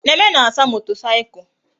Neme na-asa motorcycle